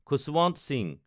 Khushwant Singh